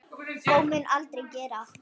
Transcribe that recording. Og mun aldrei gera.